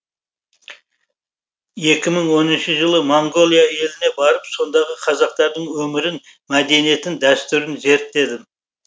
екі мың оныншы жылы моңғолия еліне барып сондағы қазақтардың өмірін мәдениетін дәстүрін зерттедім